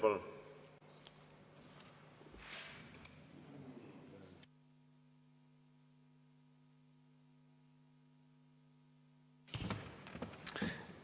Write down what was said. Palun!